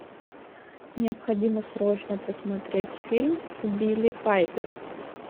необходимо срочно посмотреть фильм с билли пайпер